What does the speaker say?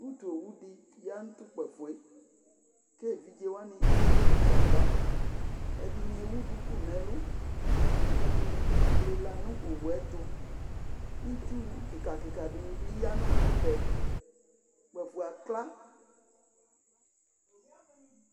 utu owu di ya no to kpafoe ko evidze wani ekple mufa ava ɛdini ewu duku no ɛlo ko ɛdini bi lela no owuɛto itsu keka keka di ni bi ya no ɛfɛ kpafo akla